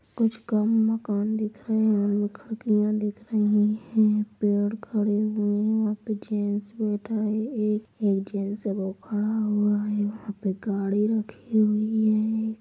कुछ कम मकान दिख रहे है। दिख रही है। पेड़ खड़े हुए वहां पर जेंट्स बैठा है। एक एजेंसी है वो खड़ा हुआ है। वहां पे गाड़ी रखी हुई है।